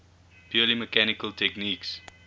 purely mechanical techniques